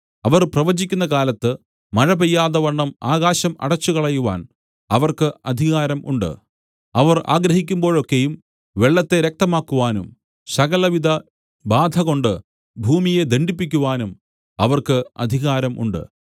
അവർ പ്രവചിക്കുന്ന കാലത്ത് മഴപെയ്യാതെവണ്ണം ആകാശം അടച്ചുകളയുവാൻ അവർക്ക് അധികാരം ഉണ്ട് അവർ ആഗ്രഹിക്കുമ്പോഴൊക്കെയും വെള്ളത്തെ രക്തമാക്കുവാനും സകലവിധബാധകൊണ്ട് ഭൂമിയെ ദണ്ഡിപ്പിക്കുവാനും അവർക്ക് അധികാരം ഉണ്ട്